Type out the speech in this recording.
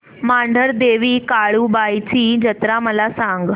मांढरदेवी काळुबाई ची जत्रा मला सांग